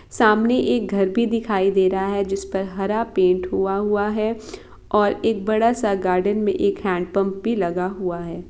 सामने एक घर भी दिखाई दे रहा है जिस पर हरा पेंट हुवा हुवा है और एक बडा सा गार्डन मे एक हेंडपम्प भी लगा हुवा है ।